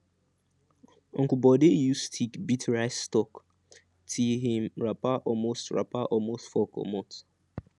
uncle bode use stick beat rice stalk till him wrapper almost wrapper almost fall comot